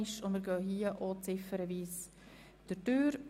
Auch hier gehen wir ziffernweise vor.